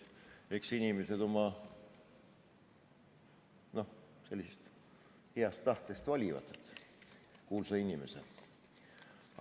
Eks inimesed oma sellisest heast tahtest valivad kuulsa inimese.